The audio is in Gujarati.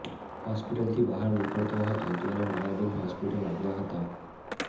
હોસ્પિટલથી બહાર નીકળતો હતો ત્યારે માયાબેન હોસ્પિટલ આવ્યા હતા